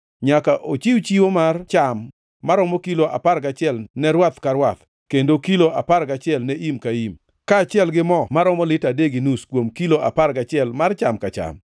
Nyaka ochiw chiwo mar cham maromo kilo apar gachiel ne rwath ka rwath, kendo kilo apar gachiel ne im ka im, kaachiel gi mo maromo lita adek gi nus kuom kilo apar gachiel mar cham ka cham.